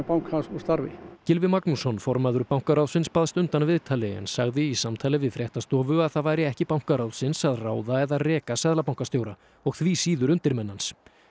bankans úr starfi Gylfi Magnússon formaður bankaráðsins baðst undan viðtali en sagði í samtali við fréttastofu að það væri ekki bankaráðsins að ráða eða reka seðlabankastjóra og því síður undirmenn hans